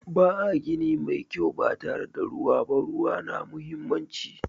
Ba a gini mai kyau ba tare da ruwa ba. Ruwa na muhimmanci.